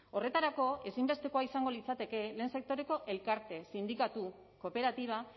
horretarako ezinbestekoa izango litzateke lehen sektoreko elkarte sindikatu kooperatiba